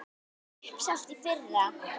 Uppselt í fyrra!